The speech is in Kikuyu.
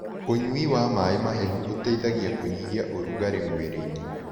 Ũnyũĩ wa mae mahehũ ũteĩthagĩa kũnyĩhĩa ũrũgarĩ mwĩrĩĩnĩ